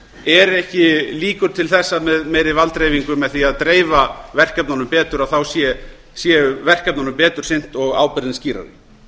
eru ekki líkur til þess með meiri valddreifingu með því að dreifa verkefnunum betur þá séu verkefnunum betur sinnt og ábyrgðin skýrari